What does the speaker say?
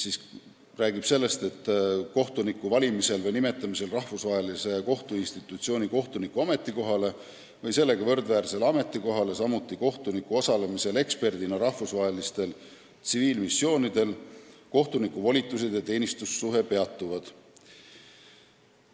See räägib sellest, et kohtuniku valimisel või nimetamisel rahvusvahelise kohtuinstitutsiooni kohtuniku ametikohale või sellega võrdväärsele ametikohale, samuti kohtuniku osalemisel eksperdina rahvusvahelisel tsiviilmissioonil kohtuniku volitused ja teenistussuhe peatuvad.